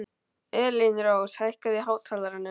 Elínrós, hækkaðu í hátalaranum.